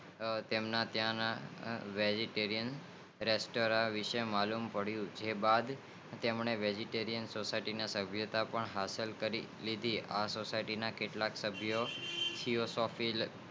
તેમને ત્યાં ના વેજિટેરિયન રેસ્ટોરન્ટ વિષે માલુમ પડીઉં જે બાદ તેમને વેજિટેરિયન સોસાઈટીના સો સભ્યતા હાંસલ કરી તે આ સોસાઈટીના કેટલાક સાભિયો